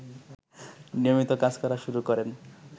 নিয়মিত কাজ করা শুরু করেন